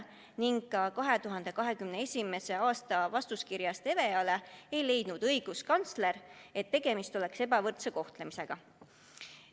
Ka õiguskantsler ei leidnud oma 2021. aasta vastuskirjas EVEA-le, et tegemist on ebavõrdse kohtlemisega.